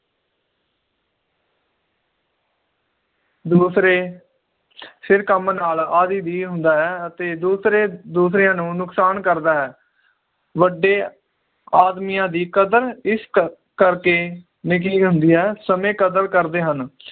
ਦੂਸਰੇ ਸਿਰ ਕੰਮ ਨਾਲ ਆਦਿ ਹੁੰਦਾ ਹੈ ਅਤੇ ਦੂਸਰੇ ਦੂਸਰਿਆਂ ਨੂੰ ਤੰਗ ਕਰਦਾ ਹੈ ਵੱਡੇ ਆਦਮੀਆਂ ਦੀ ਕਦਰ ਇਸ ਕਰ ਕਰਕੇ ਹੁੰਦੀ ਹੈ ਸਮੇ ਕਦਰ ਕਰਦੇ ਹਨ